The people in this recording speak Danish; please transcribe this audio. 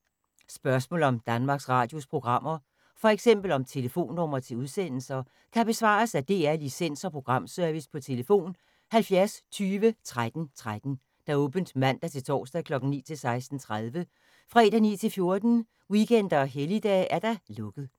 Spørgsmål om Danmarks Radios programmer, f.eks. om telefonnumre til udsendelser, kan besvares af DR Licens- og Programservice: tlf. 70 20 13 13, åbent mandag-torsdag 9.00-16.30, fredag 9.00-14.00, weekender og helligdage: lukket.